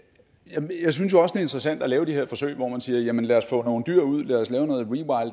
interessant at lave de her forsøg hvor man siger jamen lad os få nogle dyr ud lad os lave noget